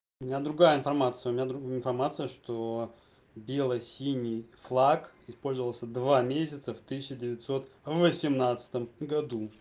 у меня другая информация у меня информация что бело синий флаг использовался два месяца в тысяча девятьсот восемнадцатом году